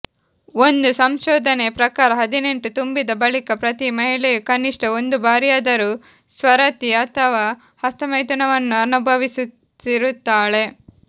ಒಂದು ಸಂಶೋಧನೆಯ ಪ್ರಕಾರ ಹದಿನೆಂಟು ತುಂಬಿದ ಬಳಿಕ ಪ್ರತಿ ಮಹಿಳೆಯೂ ಕನಿಷ್ಟ ಒಂದು ಬಾರಿಯಾದರೂ ಸ್ವರತಿ ಅಥವಾ ಹಸ್ತಮೈಥುನವನ್ನು ಅನುಭವಿಸಿರುತ್ತಾಳೆ